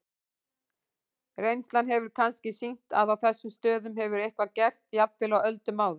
Reynslan hefur kannski sýnt að á þessum stöðum hefur eitthvað gerst, jafnvel á öldum áður.